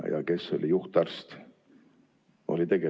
Ja kes oli juhtarst?